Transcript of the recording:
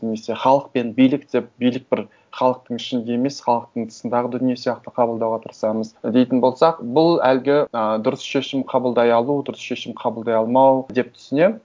немесе халық пен билік деп билік бір халықтың ішінде емес халықтың тысындағы дүние сияқты қабылдауға тырысамыз дейтін болсақ бұл әлгі ыыы дұрыс шешім қабылдай алу дұрыс шешім қабылдай алмау деп түсінемін